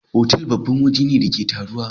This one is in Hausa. otal babban waje ne da ake taruwa